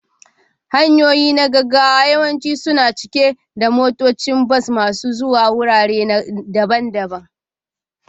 Hanyoyi na gaggawa yawanci suna cike da motocin bas masu zuwa wurare daban-daban